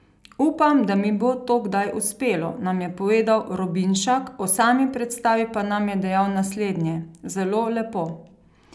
Upam, da mi bo to kdaj uspelo,' nam je povedal Robinšak, o sami predstavi pa nam je dejal naslednje: 'Zelo lepo.